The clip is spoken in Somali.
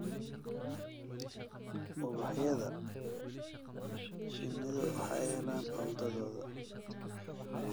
Ubaxyada, shinnidu waxay helaan cuntadooda.